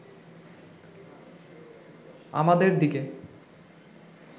আমাদের দিকে